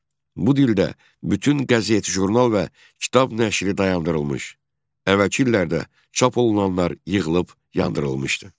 Bu dildə bütün qəzet, jurnal və kitab nəşri dayandırılmış, əvvəlki illərdə çap olunanlar yığılıb yandırılmışdı.